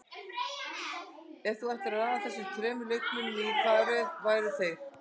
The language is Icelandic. Ef þú ættir að raða þessum þremur leikmönnum, í hvaða röð væru þeir?